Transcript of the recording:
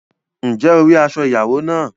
Ǹjẹ́ o rí aṣọ ìyàwó náà?